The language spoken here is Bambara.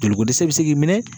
Joliko dɛsɛ bɛ se k'i minɛ